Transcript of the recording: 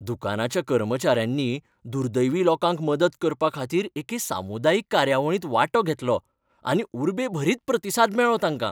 दुकानाच्या कर्मचाऱ्यांनी दुर्दैवी लोकांक मदत करपाखातीर एके सामुदायीक कार्यावळींत वांटो घेतलो आनी उर्बेभरीत प्रतिसाद मेळ्ळो तांकां.